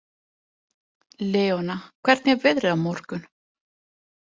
Leona, hvernig er veðrið á morgun?